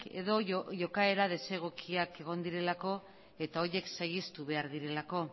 edo jokaera desegokiak egon direlako eta horiek saihestu behar direlako